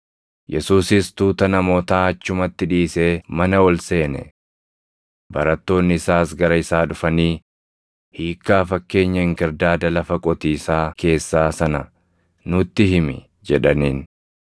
Yesuusis tuuta namootaa achumatti dhiisee mana ol seene. Barattoonni isaas gara isaa dhufanii, “Hiikkaa fakkeenya inkirdaada lafa qotiisaa keessaa sana nutti himi” jedhaniin.